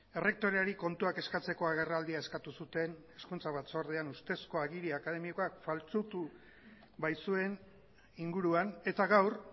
errektoreari kontuak eskatzeko agerraldia eskatu zuten hezkuntza batzordean uztezko agiri akademikoak faltsutu baitzuen inguruan eta gaur